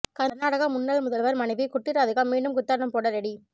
கர்நாடக முன்னாள் முதல்வர் மனைவி குட்டி ராதிகா மீண்டும் குத்தாட்டம் போட ரெடி